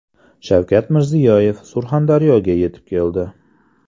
Shavkat Mirziyoyev Surxondaryoga yetib keldi.